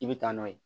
I bɛ taa n'o ye